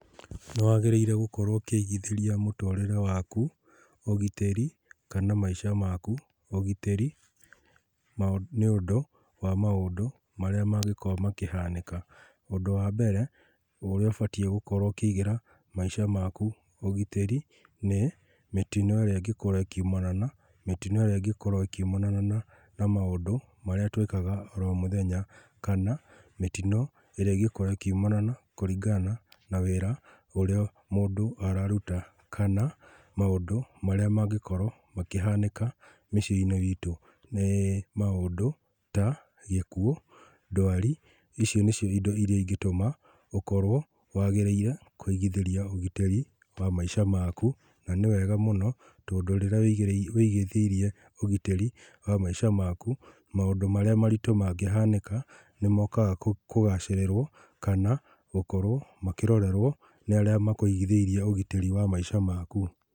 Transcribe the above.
Nĩwagĩrĩire gũkorwo ũkĩigithĩrĩa mũtũrĩre waku ũgitĩri, kana maica maku ũgitĩrĩ, ma nĩũndũ wa maũndũ marĩa mangĩkorwo makĩhanĩka. Ũndũ wa mbere, ũrĩa ũbatie gũkorwo ũkĩigĩra, maica maku ũgitĩri, nĩ mĩtino ĩrĩa ĩngĩkorwo ĩkiumana na, mĩtino ĩrĩa ĩngĩkorwo ĩkiumana na na maũndũ marĩa tũĩkaga o mũthenya, kana, mĩtino ĩrĩa ĩngĩkorwo ĩkiumana na kũringana na wĩra ũrĩa mũndũ araruta, kana, maũndũ marĩa mangĩkorwo makĩhanĩka mĩciĩnĩ itũ. Nĩ maũndũ ta gĩkuũ, ndwari. Ici nĩcio indo iria ingĩtũma ũkorwo wagĩrĩire kũigĩthĩria ũgitĩri wa maica maku, na nĩwega mũno, tondũ rĩrĩa wĩigĩrĩire wĩigithĩirie ũgitĩri wa maica maku, maũndũ marĩa maritũ mangĩhanĩka, nĩmokaga kũ kagacĩrĩrwo, kana, gũkorwo makĩrorerwo nĩ arĩa makũigithĩirie ũgitĩri wa maica maku.